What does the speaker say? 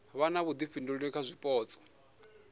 vha na vhuifhinduleli kha zwipotso